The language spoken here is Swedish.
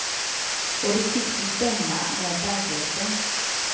Och det tycks ju stämma med verkligheten.